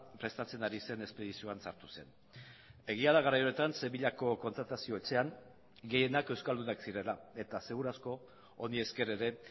prestatzen ari zen espedizioan sartu zen egia da garai horretan sevillako kontratazio etxean gehienak euskaldunak zirela eta seguru asko honi esker ere